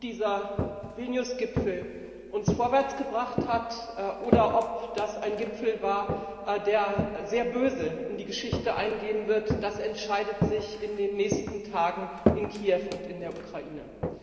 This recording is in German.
Ob dieser Vilnius Gipfel uns vorwärts gebracht hat, oder ob das ein Gipfel war, der sehr böse in die Geschichte eingehen wird, das entscheidet sich in den nächsten Tagen in Kiew und in der Ukraine.